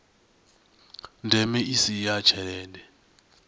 ndeme i si ya tshelede